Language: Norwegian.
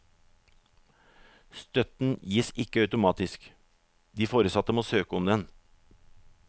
Støtten gis ikke automatisk, de foresatte må søke om den.